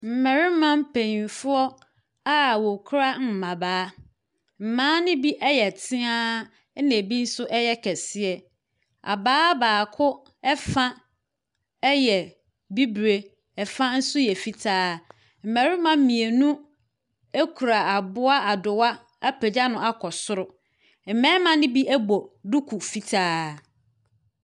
Mmarima mpanyimfo abien kura mbabaa. Mmaa no bi yɛ tea na ebi nso yɛ kɛseɛ. Ababaa baako fa yɛ bibire. Ɛfa nso yɛ fitaa. Mmarima mmienu ekura aboa adowa apagya bno akɔ soro. Mmarima no bi bɔ duku fitaa.